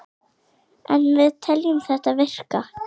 En við teljum þetta virka.